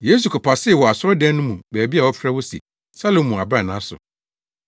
Yesu kɔpasee wɔ asɔredan no mu baabi a wɔfrɛ hɔ se Salomo Abrannaa so.